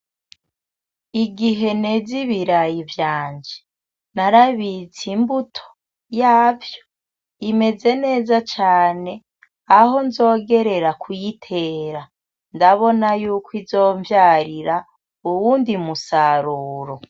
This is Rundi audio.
Igihe neza ibirayi vyanje, narabitse imbuto yavyo imeze neza cane aho nzogerera kuyitera ndabona yuko izomvyarira uwundi musaruro.